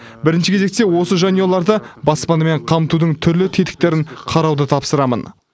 бірінші кезекте осы жанұяларды баспанамен қамтудың түрлі тетіктерін қарауды тапсырамын